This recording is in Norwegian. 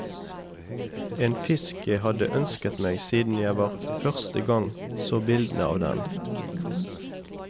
En fisk jeg har ønsket meg siden jeg første gang så bildene av den.